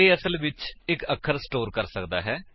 ਇਹ ਅਸਲ ਵਿੱਚ ਇੱਕ ਅੱਖਰ ਸਟੋਰ ਕਰ ਕਰਦਾ ਹੈ